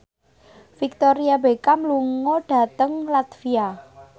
Victoria Beckham lunga dhateng latvia